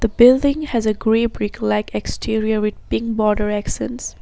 The buliding has a grey brick like exterior with pink border extends.